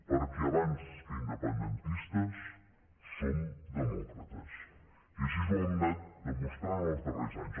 perquè abans que independentistes som demòcrates i així ho hem anat demostrant els darrers anys